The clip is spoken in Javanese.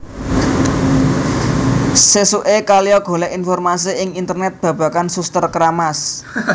Sesuke Kayla golek informasi ing Internet babagan Suster Keramas